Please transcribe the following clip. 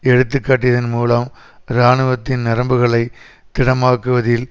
எடுத்து காட்டியதன் மூலம் இராணுவத்தின் நரம்புகளை திடமாக்குவதில்